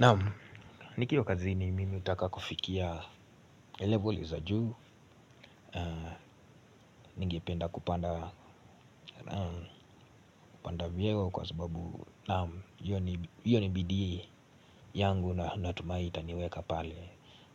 Naam, nikiwa kazini mimi hutaka kufikia level za juu na ningependa kupanda vyeo kwa sababu naam, hiyo ni bidii yangu na natumai itaniweka pale,